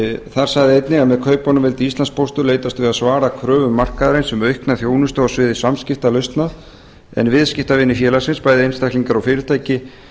þar sagði einnig að með kaupunum vildi íslandspóstur leitast við að svara kröfum markaðarins um aukna þjónustu á sviði samskiptalausna en viðskiptavinir félagsins bæði einstaklingar og fyrirtæki